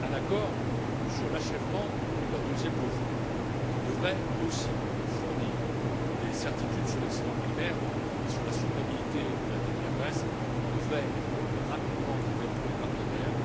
Un accord sur l'achèvement de la deuxième revue, qui devrait aussi fournir des certitudes sur l'excédent primaire et sur la durabilité de la dette de la Grèce, devrait être rapidement trouvé entre les partenaires.